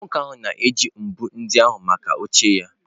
Nwoke ahụ na-eji mbọ ndị ahụ maka oche ya